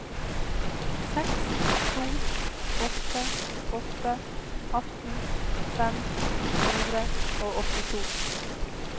seks to åtte åtte atten fem hundre og åttito